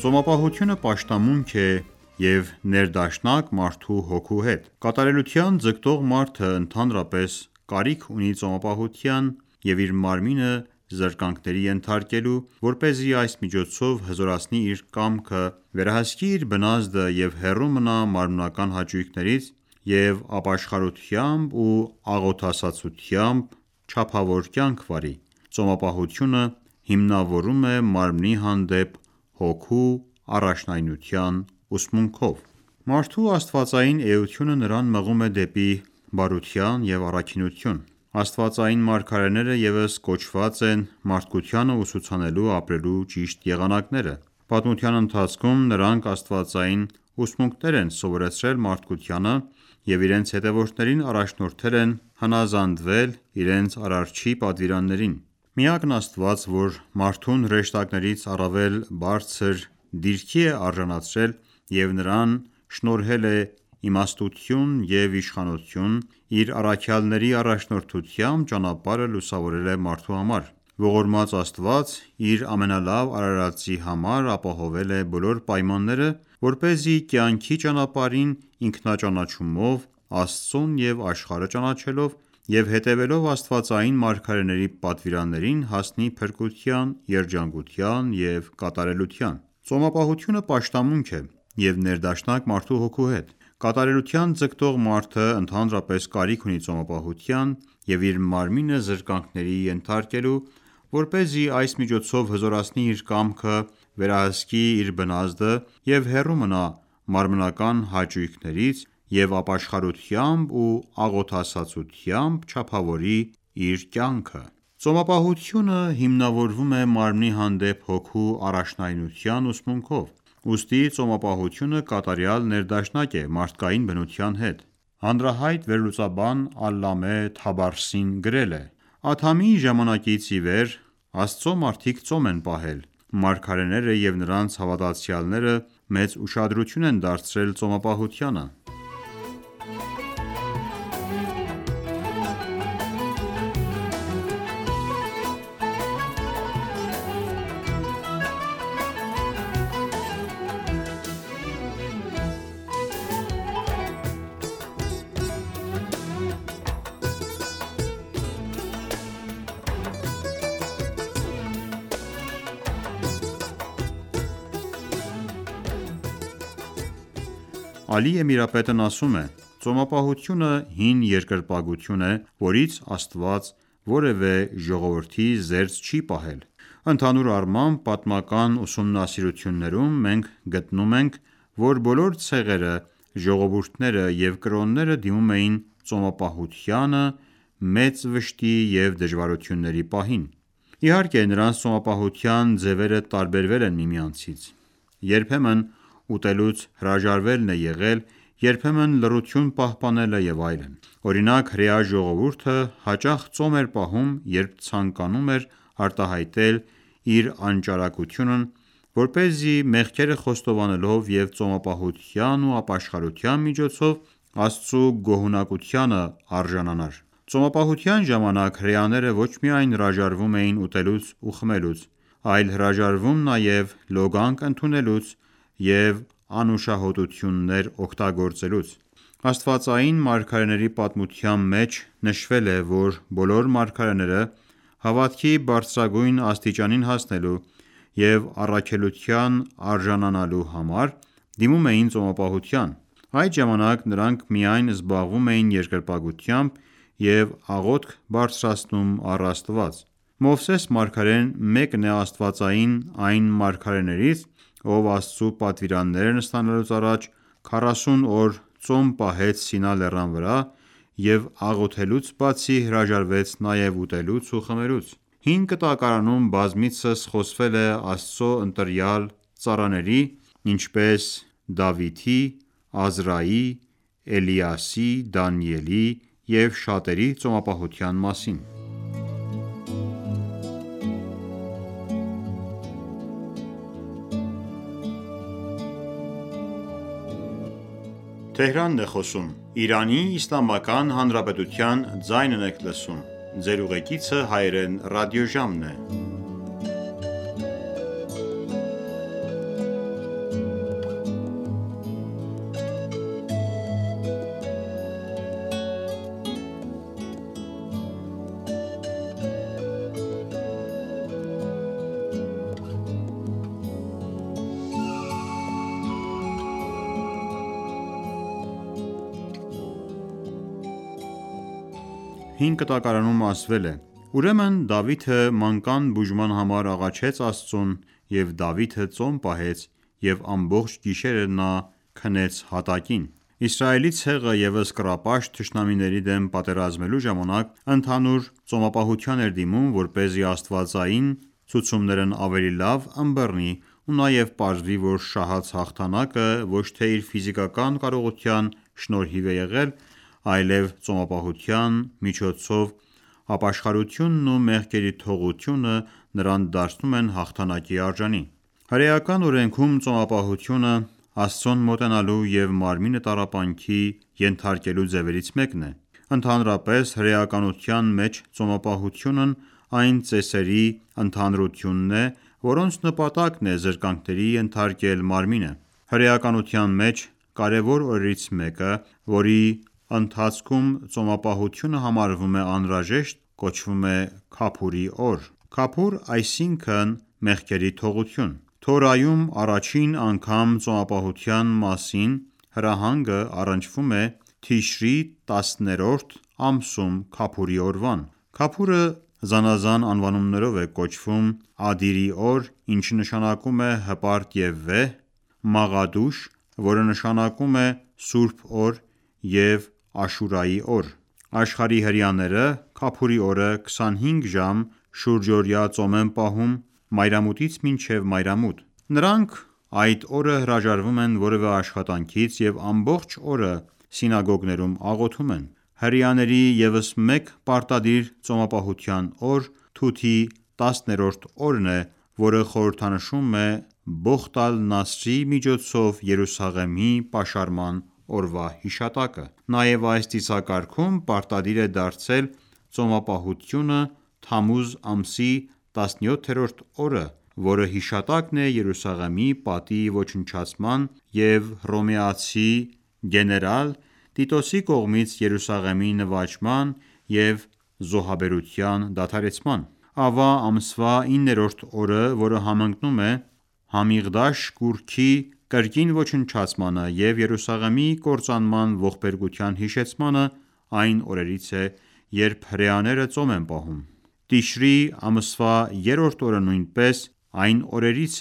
Ծոմապահությունը պաշտամունք է, և ներդաշնակ մարդու հոգու հետ:Կատարելության ձգտող մարդը ,ընդհանրապես կարիք ունի ծոմապահության և իր մարմինը զրկանքների ենթարկելու ,որպեսզի այս միջոցով հզորացնի իր կամքը ,վերահսկի իր բնազդը և հեռու մնա մարմնական հաճույքներից, և ապաշխարությամբ ու աղոթասացությամբ չափավոր կյանք վարի։ Ծոմապահությունը հիմնավորվում է մարմնի հանդեպ հոգու առաջնայնության ուսմունքով։ Մարդու աստվածային էությունը նրան մղում է դեպի բարություն և առաքինություն: Աստվածային մարգարեները ևս կոչված են մարդկությանը ուսուցանելու՝ ապրելու ճիշտ եղանակները:Պատմության ընթացքում ,նրանք աստվածային ուսմունքներ են սովորեցրել մարդկությանը և իրենց հետևորդներին առաջնորդել են հնազանդվել իրենց Արարչի պատվերաններին: Միակն Աստված ,որ մարդուն հրեշտակներից առավել բարձր դիրքի է արժանացրել և նրան շնորհել է իմաստություն և իշխանություն, իր առաքյալների առաջնորդությամբ ճանապարհը լուսավորել է մարդու համար: Ողորմած Աստված իր ամենալավ արարածի համար ապահովել է բոլոր պայմանները, որպեսզի կյանքի ճանապարհին ,ինքնաճանաչումով ,Աստծուն և աշխարհը ճանաչելով և հետևելով աստվածային մարգարեների պատվիրաններին ,հասնի փրկության, երջանկության և կատարելության :Ծոմապահությունը պաշտամունք է, և ներդաշնակ մարդու հոգու հետ:Կատարելության ձգտող մարդը ,ընդհանրապես կարիք ունի ծոմապահության և իր մարմինը զրկանքների ենթարկելու ,որպեսզի այս միջոցով հզորացնի իր կամքը ,վերահսկի իր բնազդը և հեռու մնա մարմնական հաճույքներից, և ապաշխարությամբ ու աղոթասացությամբ չափավոր կյանք վարի։ Ծոմապահությունը հիմնավորվում է մարմնի հանդեպ հոգու առաջնայնության ուսմունքով։ Ուստի ծոմապահությունը կատարյալ ներդաշնակ է մարդկային բնության հետ: Հանրահայտ վերլուծաբան Ալլամե Թաբրասին գրել է.«Ադամի ժամանակից ի վեր Աստծո մարդիկ ծոմ են պահել։ Մարգարեները և նրանց հավատացյալները մեծ ուշադրություն են դարձրել ծոմապահությանը»:Ալի Էմիրապետն ասում է.«Ծոմապահությունը հին երկրպագություն է, որից Աստված որևէ ժողովրդի զերծ չի պահել»: Ընդհանուր առմամբ, պատմական ուսումնասիրություններում մենք գտնում ենք, որ բոլոր ցեղերը, ժողովուրդները և կրոնները դիմում էին ծոմապահությանը մեծ վշտի և դժվարությունների պահին:Իհարկե, նրանց ծոմապահության ձևերը տարբերվել է միմյանցից: Երբեմն ուտելուց հրաժարվելն է եղել, երբեմն լռություն պահպանելը և այլն:Օրինակ ՝ հրեա ժողովուրդը հաճախ ծոմ էր պահում, երբ ցանկանում էր արտահայտել իր անճարակությունն, որպեսզի մեղքերը խոստովանելով և ծոմապահության ու ապաշխարության միջոցով, Աստծու գոհունակությանը արժանանար: Ծոմապահության ժամանակ ,հրեաները ոչ միայն հրաժարվում էին ուտելուց ու խմելուց ,այլ հրաժարվում նաև լոգանք ընդունելուց և անուշահոտություններ օգտագործելուց։ Աստվածային մարգարեների պատմության մեջ նշվել է,որ բոլոր մարգարեները հավատքի բարձրագույն աստիճանին հասնելու և առաքելության արժանանալու համար դիմում էին ծոմապահության: Այդ ժամանակ նրանք միայն զբաղվում էին երկրպագությամբ, և աղոթք բարձրացնում առ Աստված: Մովսես մարգարեն ,մեկն է Աստվածային այն մարգարեներից, ով Աստծու պատվիրաններն ստանալուց առաջ ,40 օր ծոմ պահեց Սինա լեռան վրա ,և աղոթելուց բացի հրաժարվեց նաև ուտելուց ու խմելուց: Հին Կտակարանում բազմիցս խոսվել է Աստծու ընտրյալ ծառաների ,ինչպես Դավթի, Ազրայի, Էլիասի ,Դանիելի և շատերի ծոմապահության մասին: Հին Կտակարանում ասվել է.«...Ուրեմն Դավիթը մանկան բուժման համար աղաչեց Աստծուն,և Դավիթը ծոմ պահեց և ամբողջ գիշերը նա քնեց հատակին»: Իսրայելի ցեղը ևս կռապաշտ թշնամիների դեմ պատերազմելու ժամանակ ,ընդհանուր ծոմապահության էր դիմում, որպեսզի աստվածային ցուցումներն ավելի լավ ընբռնի ու նաև պարզվի ,որ շահած հաղթանակը ոչ թե իր ֆիզիկական կարողության շնորհիվ է եղել ,այլև ծոմապահության միջոցով ապաշխարությունն ու մեղքերի թողությունը նրան դարձնում են հաղթանակի արժանի: Հրեական օրենքում ,ծոմապահությունը Աստծուն մոտենալու և մարմինը տառապանքի ենթարկելու ձևերից մեկն է:Ընդհանրապես հրեականության մեջ ծոմապահությունն այն ծեսերի ընդհանրությունն է, որոնց նպատակն է՝ զրկանքների ենթարկել մարմինը: Հրեականության մեջ, կարևոր օրերից մեկը ,որի ընթացքում ծոմապահությունը համարվում է անհրաժեշտ ,կոչվում է «Քափուր»-ի օր:Քափուր՝այսինքն մեղքերի թողություն: Թորայում առաջին անգամ ծոմապահության մասին հրահանգը առնչվում է Թիշրի տասներորդ ամսում Քափուրի օրվան :Քափուրը, զանազան անվանումներով է կոչվում՝ Ադիրի օր, ինչը նշանակում է հպարտ և վեհ, Մաղադուշ, որը նշանակում է սուրբ օր և Աշուրայի օր:Աշխարհի հրեաները Քափուրի օրը 25 ժամ, շուրջօրյա ծոմ են պահում մայրամուտից մինչև մայրամուտ :Նրանք այդ օրը հրաժարվում են որևէ աշխատանքից և ամբողջ օրը սինագոգներում աղոթում են: Հրեաների ևս մեկ պարտադիր ծոմապահության օր՝ Թութի 10-րդ օրն է, որը խորհրդանշում է Բոխտ ալ-Նասրի միջոցով Երուսաղեմի պաշարման օրվա հիշատակը: Նաև այս ծիսակարգում պարտադիր է դարձել ծոմապահությունը Թամուզ ամսի 17-րդ օրը, որը հիշատակն է Երուսաղեմի պատի ոչնչացման և հռոմեացի գեներալ Տիտոսի կողմից Երուսաղեմի նվաճման և զոհաբերության դադարեցման:Ավա ամսվա իններորդ օրը, որը համընկնում է Համիղդաշ կուռքի կրկին ոչնչացմանը և Երուսաղեմի կործանման ողբերգության հիշեցմանը, այն օրերից է, երբ հրեաները ծոմ են պահում:Տիշրի ամսվա երրորդ օրը նույնպես մեկն է այն օրերից,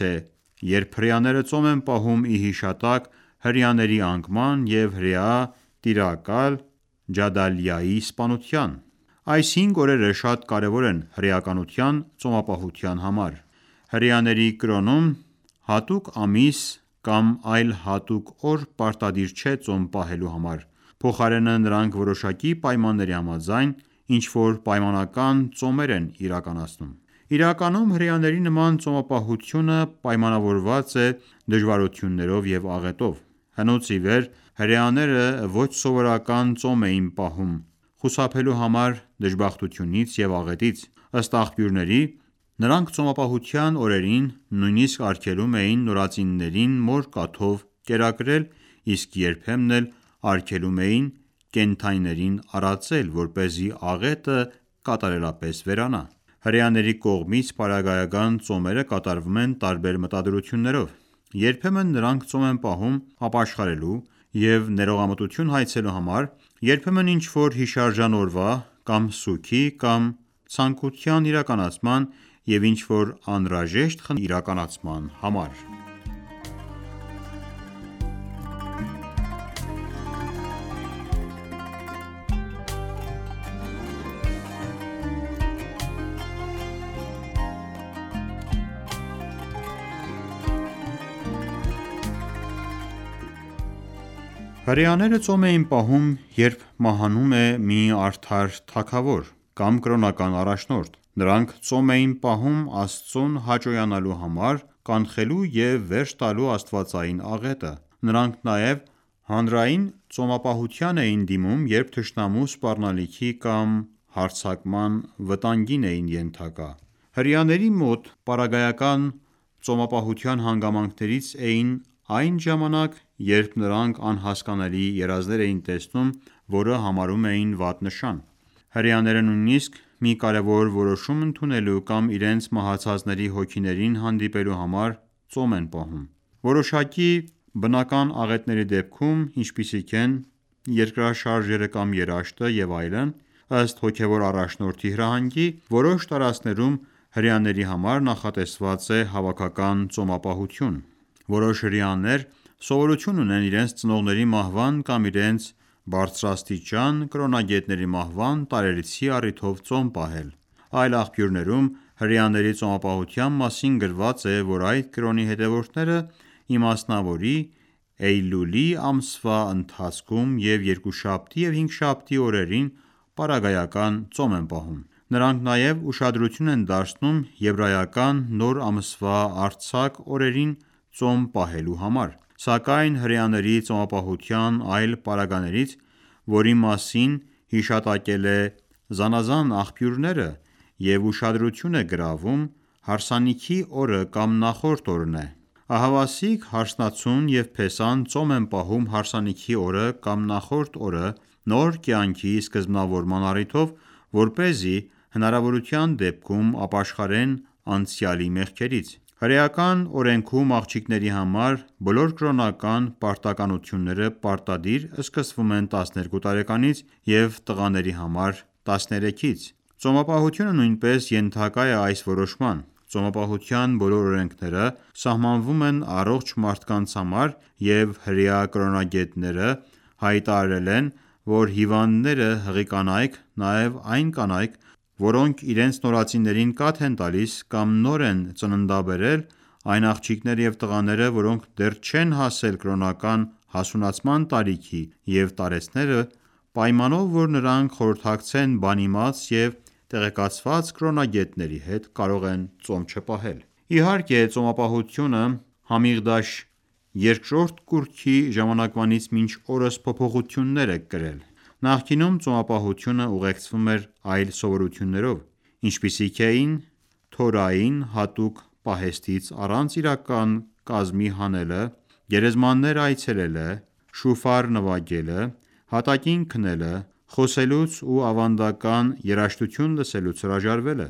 երբ հրեաները ծոմ են պահում ի հիշատակ հրեաների անկման և հրեա տիրակալ Ջադալիայի սպանության: Այս հինգ օրերը շատ կարևոր են հրեականության ծոմապահության համար: Հրեաների կրոնում, հատուկ ամիս կամ այլ հատուկ օր պարտադիր չէ ծոմ պահելու համար, փոխարենը, նրանք որոշակի պայմանների համաձայն, ինչ որ պայմանական ծոմեր են իրականացնում: Իրականում հրեաների նման ծոմապահությունը պայմանավորված է՝ դժվարություններով և աղետով:Հնուց ի վեր ,հրեաները ոչ սովորական ծոմ էին պահում ,խուսափելու համար դժբախտությունից և աղետից:Ըստ աղբյուրների, նրանք ծոմապահության օրերին նույնիսկ արգելում էին նորածիններին մոր կաթով կերակրել, իսկ երբեմն էլ արգելում էին կենդանիներին արածել, որպեսզի աղետը կատարելապես վերանա: Հրեաների կողմից պարագայական ծոմերը կատարվում են տարբեր մտադրություններով:Երբեմն նրանք ծոմ են պահում `ապաշխարելու և ներողամտություն հայցելու համար, երբեմն ինչ որ հիշարժան օրվա, կամ սուգի, կամ ցանկութան իրականացման և ինչ որ անհրաժեշտ խնդրանքի իրականացման համար: Հրեաները ծոմ էին պահում, երբ մահանում էր մի արդար թագավոր (օրինակ ՝ Սաուլը) կամ կրոնական առաջնորդը:Նրանք ծոմ էին պահում, Աստծուն հաճոյանալու համար `կանխելու և վերջ տալու աստվածային աղետը:Նրանք նաև հանրային ծոմապահության էին դիմում ,երբ թշնամու սպառնալիքի կամ հարձակման վտանգին էին ենթակա: Հրեաների մոտ պարագայական ծոմապահության հանգամանքներից էին այն ժամանակ ,երբ նրանք անհասկանալի երազներ էին տեսնում ,որը համարում էին վատ նշան: Հրեաները նույնիսկ մի կարևոր որոշում ընդունելու կամ իրենց մահացածների հոգիներին հանդիպելու համար ծոմ են պահում:Որոշակի բնական աղետների դեպքում, ինչպիսիք են՝ երկրաշարժերը կամ երաշտը և այլն, ըստ հոգևոր առաջնորդի հրահանգի, որոշ տարածքներում հրեաների համար նախատեսված է հավաքական ծոմապահություն:Որոշ հրեաներ, սովորություն ունեն իրենց ծնողների մահվան կամ իրենց բարձրաստիճան կրոնագետների մահվան տարելիցի առիթով ծոմ պահել։ Այլ աղբյուրներում, հրեաների ծոմապահության մասին գրված է ,որ այդ կրոնի հետևորդները ,ի մասնավորի Էյլուլի ամսվա ընթացքում, և երկուշաբթի և հինգշաբթի օրերին պարագայական ծոմ են պահում: Նրանք նաև ուշադրություն են դարձնում Եբրայական Նոր ամսվա արձակ օրերին ՝ ծոմ պահելու համար:Սակայն, հրեաների ծոմապահության այլ պարագաներից որի մասին հիշատակվել է զանազան աղբյուրներում, և ուշադրություն է գրավում, հարսանիքի օրը կամ նախորդ օրն է: Ահավասիկ, հարսնացուն և փեսան ծոմ են պահում հարսանիքի օրը կամ նախորդ օրը ՝ նոր կյանքի սկզբնավորման առիթով ,որպեսզի հնարավորության դեպքում ապաշխարեն անցյալի մեղքերից: Հրեական օրենքում աղջիկների համար բոլոր կրոնական պարտականությունները պարտադիր սկսվում են 12 տարեկանից և տղաների համար` 13: Ծոմապահությունը նույնպես ենթակա է այս որոշման: Ծոմապահության բոլոր օրենքները սահմանվում են առողջ մարդկանց համար, և հրեա կրոնագետները հայտարարել են, որ հիվանդները, հղի կանայք նաև այն կանայք որոնք իրենց նորածիներին կաթ են տալիս կամ նոր են ծննդաբերել, այն աղջիկներն և տղաները, որոնք դեռ չեն հասել կրոնական հասունացման տարիքի և տարեցները պայմանով, որ նրանք խորհրդակցեն բանիմաց և տեղեկացված կրոնագետի հետ կարող են ծոմ չպահել: Իհարկե, ծոմապահությունը Համիղդաշ երկրորդ կուռքի ժամանակվանից մինչ օրս փոփոխություններ է կրել :Նախկինում ծոմապահությունը ուղեկցվում էր այլ սովորույթներով, ինչպիսիք էին ՝ Թորային հատուկ պահեստից առանց իրական կազմի հանելը, գերեզմաններ այցելելը, շուֆար նվագելը, հատակին քնելը, խոսելուց ու ավանդական երաժշտություն լսելուց հրաժարվելը։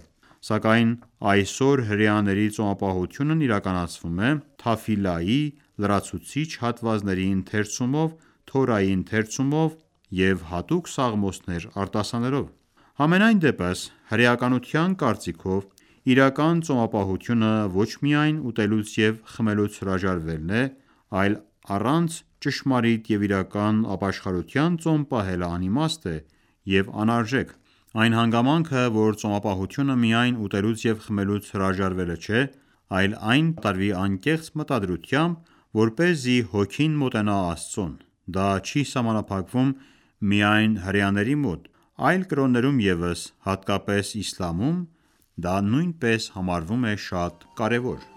Սակայն այսօր հրեաների ծոմապահությունն իրականացվում է Թաֆիլայի (աղոթք) լրացուցիչ հատվածների ընթերցումով, Թորայի ընթերցումով և հատուկ Սաղմոսներ արտասանելով: Համենայն դեպս, հրեականության կարծիքով, իրական ծոմապահությունը ոչ միայն ուտելուց և խմելուց հրաժարվելն է, այլ առանց ճշմարիտ և իրական ապաշխարության ծոմ պահելը անիմաստ է և անարժեք :Այն հանգամանքը ,որ ծոմապահությունը միայն ուտելուց և խմելուց հրաժարվելը չէ, այլ այն պետք է կատարվի անկեղծ մտադրությամբ ,որպեսզի հոգին մոտենա Աստծուն ,դա չի սահմանափակվում միայն հրեաների մոտ, այլ կրոններում ևս, հատկապես իսլամում, դա նույնպես համարվում է շատ կարևոր։